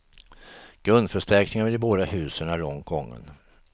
Grundförstärkningen av de båda husen är långt gången.